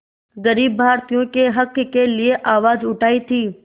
ग़रीब भारतीयों के हक़ के लिए आवाज़ उठाई थी